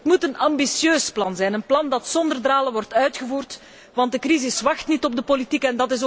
Het moet een ambitieus plan zijn, een plan dat zonder dralen wordt uitgevoerd, want de crisis wacht niet op de politiek.